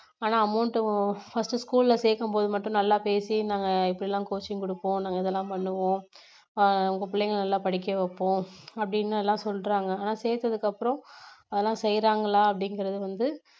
ஆனா amount first school ல சேக்கும்போது மட்டும் நல்லா பேசி நாங்க இப்படி எல்லாம் coaching கொடுப்போம் நாங்க இதெல்லாம் பண்ணுவோம் ஆஹ் உங்க பிள்ளைங்களை நல்லா படிக்க வைப்போம் அப்படின்னு எல்லாம் சொல்றாங்க நான் சேத்ததுக்கு அப்புறம் அதெல்லாம் செய்றாங்களா அப்படிங்கறது வந்து